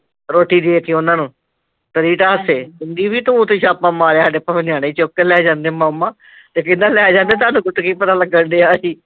ਰੋਟੀ ਦੇ ਕੇ ਓਹਨਾ ਨੂੰ ਪਰੀ ਤਾਂ ਹਸੈ, ਕਹਿੰਦੀ ਵੀ ਤੂੰ ਤੇ ਛਾਪਾ ਮਾਰਿਆ ਸਾਡੇ ਭਾਵੇ ਨਿਆਣੇ ਚੁੱਕ ਕੇ ਲੈ ਜਾਂਦੇ ਮਾਮਾ ਤੇ ਕਹਿੰਦਾ ਲੈ ਜਾਂਦੇ ਤੁਹਾਨੂੰ ਉੱਥੇ ਕੀ ਪਤਾ ਲਗਣ ਡਿਆ ਸੀ